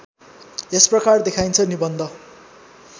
यसप्रकार देखाइन्छ निबन्ध